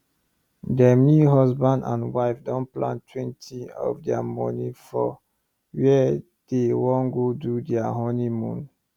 dem new husband and wife don plantwentyof dia money for where dey wan go do dia honeymoon